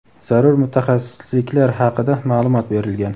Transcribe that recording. zarur mutaxassisliklar haqida ma’lumot berilgan.